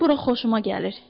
Mənim bura xoşuma gəlir.